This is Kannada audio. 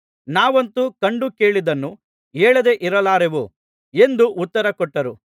ನಾವಂತೂ ಕಂಡು ಕೇಳಿದ್ದನ್ನು ಹೇಳದೆ ಇರಲಾರೆವು ಎಂದು ಉತ್ತರಕೊಟ್ಟರು